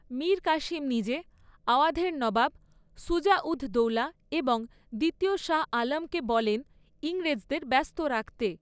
মীর কাসিম নিজে, আওয়াধের নবাব সুজা উদ দৌলা এবং দ্বিতীয় শাহ আলমকে বলেন ইংরেজদের ব্যস্ত রাখতে।